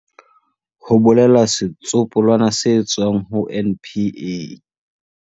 Ho bolela setsopolwana se tswang ho NPA.